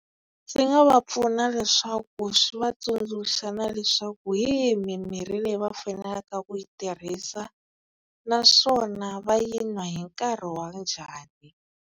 Swi nga va pfuna leswaku swi va tsundzuxa na leswaku hi yihi mimirhi leyi va faneleke ku yi tirhisa naswona va yi n'wa hi nkarhi wa njhani.